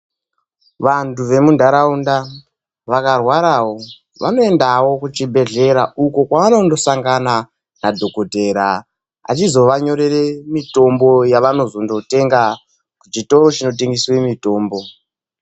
Vantu vemunharaunda vakarwarawo vanoendawo kuchibhedhlera, uko kwawanondosangana nadhogodhera vachizovanyorere mitombo yavanozongotenga kuchitoro chinotengeswe mitombo.